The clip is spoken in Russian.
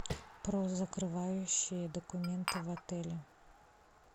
про закрывающие документы в отеле